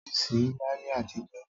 Tìàsí òsí làyé àtíjò